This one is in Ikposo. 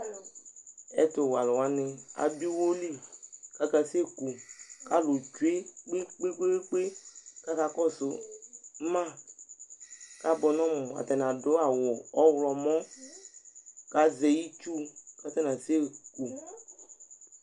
ɛtu wɛ alu wʋani adu iwo li, kaka seku , k'alu tsʋe kpekpekpekpe kaka kɔsu ma ka bʋɛ nu ɔmu ata ni adu awu ɔwlɔmɔ ku azɛ itsu k'ata ni asɛ ku